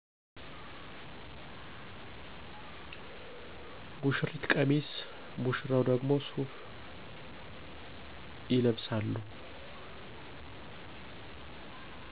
ሙሺሪት ቀሚስ ሙሺራው ደግሞ ሱፍ ይለብሳሉ።